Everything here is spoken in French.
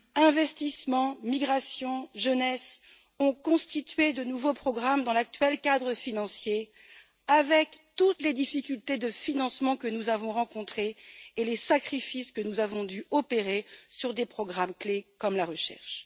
Investissement, migration et jeunesse ont constitué de nouveaux programmes dans l'actuel cadre financier, avec toutes les difficultés de financement que nous avons rencontrées et les sacrifices que nous avons dû opérer sur des programmes clés, comme la recherche.